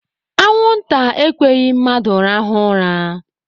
Anwụ nta ekweghị mmadụ rahụọ ụra.